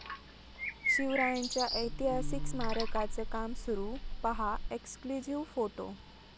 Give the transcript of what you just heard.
शिवरायांच्या ऐतिहासिक स्मारकाचं काम सुरू, पाहा एक्सक्ल्युझिव्ह फोटो